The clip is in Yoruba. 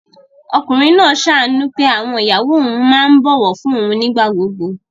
Ọkùnrin náà ṣàánú pé àwọn ìyàwó òun máa ń bọ̀wọ̀ fún un nígbà gbogbo